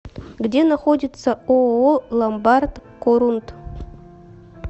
где находится ооо ломбард корунд